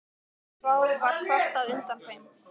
Og þá var kvartað undan þeim.